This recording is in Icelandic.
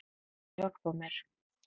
Viltu hjálpa mér?